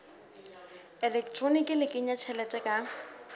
elektroniki le kenya tjhelete ka